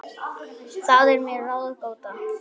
Það er mér ráðgáta